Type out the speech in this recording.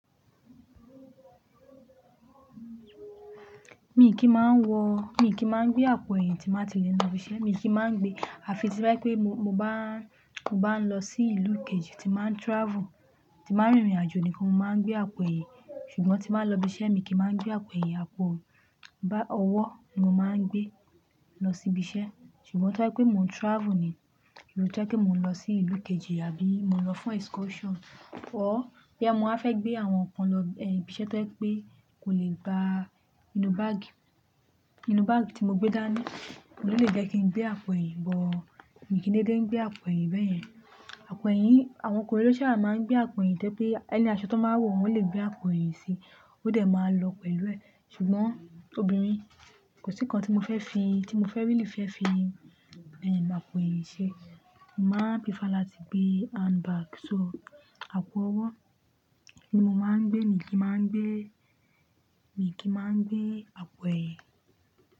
Mi kì í máa ń wọ, mi kì í máa ń gbé àpò ẹ̀yìn tí máa ti lè lọ ibi iṣẹ́. Mi kì í máa ń gbé. Àfi tí bá yẹ pé mo bá, mo bá ń lọ sí ìlú kejì, tí máa ń travel, tí máa ń rìnrìn àjò nìkan mo máa ń gbé àpò ẹ̀yìn. Ṣùgbọ́n tí mbá ń lọ ibi iṣẹ́ mi kì í máa ń gbé àpò ẹ̀yìn, àpò bá ọwọ́ ni mo máa ń gbé lọ sí ibi iṣẹ́. Ṣùgbọ́n tó bájẹ́ pé mò ń travel ni, tóbá'ẹ́ pé mò ń lọ sí ìlú kejì àbí mò ń lọ fún excursion, ọ́ bí àmọ́ a fẹ́ gbé àwọn nǹkan lọ ibi iṣẹ́ tí wọ́n pé kò lè gba inú báàgì, inú báàgì tí mo gbé dání, ò ní lè jẹ́ kí n gbé àpò ẹ̀yìn. Ṣùgbọ́n mi kì í dédé ń gbé àpò ẹ̀yìn bẹ́ẹ̀ yẹn. Àpò ẹ̀yìn, àwọn okùnrin ló sába máa ń gbé àpò ẹ̀yìn tẹ́ pé ẹni aṣọ tó máa wò wọ́n lè gbé àpò ẹ̀yìn sí i, ó dẹ̀ máa lọ pẹ̀lú ẹ. Ṣùgbọ́n obìnrin, kò sí nǹkan tí mo fẹ́ fi, tí mo fẹ́ rí lì fẹ́ fi àpò ẹ̀yìn ṣe. Mo máa ń prìfáà láti gbé hand bag. So àpò ọwọ́ ni mo máa ń gbé, mi kì í máa ń gbé, mi kì í máa ń gbé àpò ẹ̀yìn.